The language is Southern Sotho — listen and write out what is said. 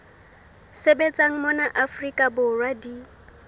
sebetsang mona afrika borwa di